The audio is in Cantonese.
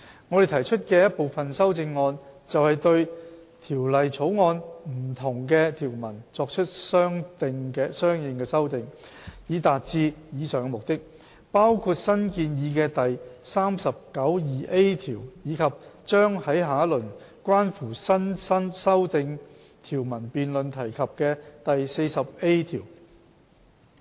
我們提出的一部分修正案，便是對《條例草案》不同的條文作出的相應修訂，以達致以上目的，包括新建議的第39條，以及將在下一輪關乎新訂條文辯論提及的第 40A 條。